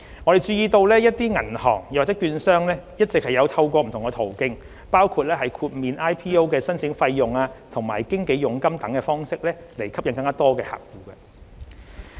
我注意到一些銀行或券商一直有透過不同途徑，包括豁免 IPO 的申請費用及經紀佣金等方式吸引更多客戶。